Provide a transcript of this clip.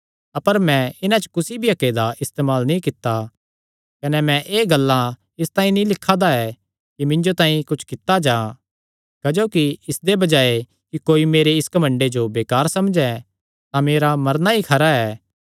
अपर मैं इन्हां च कुसी भी हक्के दा इस्तेमाल नीं कित्ता कने मैं एह़ गल्लां इसतांई नीं लिखा दा ऐ कि मिन्जो तांई कुच्छ कित्ता जां क्जोकि इसदे बजाये कि कोई मेरे इस घमंडे जो बेकार समझे तां मेरा मरना ई खरा ऐ